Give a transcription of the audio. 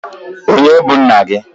Onye bu nna gi?